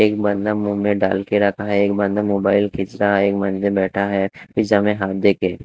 एक बंदा मुंह में डाल के रखा है एक बंदा मोबाइल घीच रहा है एक बंदा बैठा है। पिज़्ज़ा में हाथ देके --